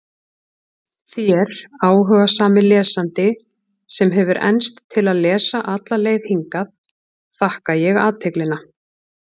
Þér, áhugasami lesandi, sem hefur enst til að lesa alla leið hingað, þakka ég athyglina.